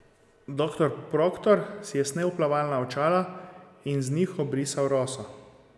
Doktor Proktor si je snel plavalna očala in z njih obrisal roso.